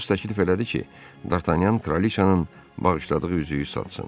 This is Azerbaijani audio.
Atos təklif elədi ki, Dartanyan Trolicanın bağışladığı üzüyü satsın.